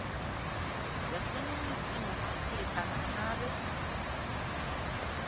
yaseningizimu afrika nangabe